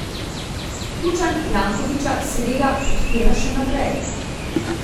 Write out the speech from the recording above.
Kučan Jankovića seveda podpira še naprej.